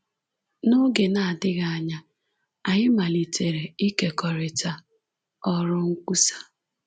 N’oge na-adịghị anya, anyị malitere ikekọrịta ọrụ nkwusa.